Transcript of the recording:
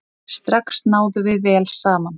Strax náðum við vel saman.